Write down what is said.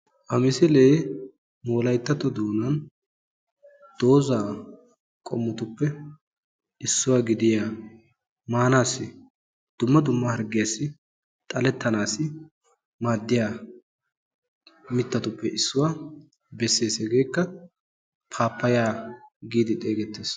Ha misile wolayttato doonan dooza qommotuppe issuwa gidiya maanassi dumma dumma harggiyassi xaletanassi maddiya mittatuppe issuwa beessees. Hegekka pappaya getettees.